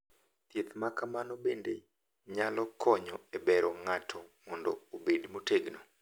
Thieth ma kamano bende nyalo konyo e bero ng’ato mondo obed motegno.